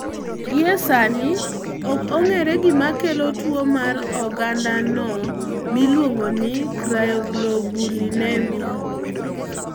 Gie sani, ok ong'e gima kelo tuwo mar ogandano miluongo ni cryoglobulinemia.